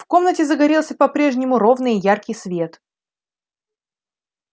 в комнате загорелся по-прежнему ровный и яркий свет